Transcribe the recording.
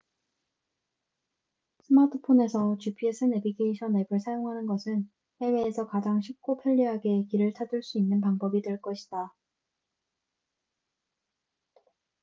스마트폰에서 gps 네비게이션 앱을 사용하는 것은 해외에서 가장 쉽고 편리하게 길을 찾을 수 있는 방법이 될 것이다